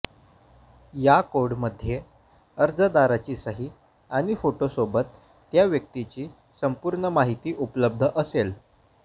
या कोडमध्ये अर्जदाराची सही आणि फोटोसोबत त्या व्यक्तीची संपूर्ण माहिती उपलब्ध असेल